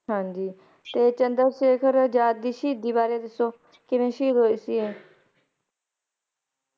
ਹਾਂਜੀ ਤੇ ਉਹ ਚੰਦਰ ਸ਼ੇਖਰ ਆਜ਼ਾਦ ਦੀ ਸ਼ਹੀਦੀ ਬਾਰੇ ਦਸੋ ਕੀ ਕਿੰਵੇਂ ਸ਼ਹੀਦ ਹੋਏ ਸੀ?